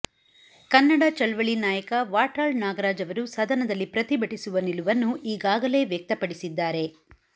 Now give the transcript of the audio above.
ಕನ್ನಡ ಚಳವಳಿ ನಾಯಕ ವಾಟಾಳ್ ನಾಗರಾಜ್ ಅವರು ಸದನದಲ್ಲಿ ಪ್ರತಿಭಟಿಸುವ ನಿಲುವನ್ನು ಈಗಾಗಲೇ ವ್ಯಕ್ತಪಡಿಸಿದ್ದಾರೆ